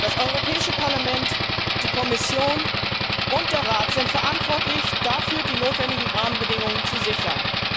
Das Europäische Parlament, die Kommission und der Rat sind verantwortlich, dafür die notwendigen Rahmenbedingungen zu sichern.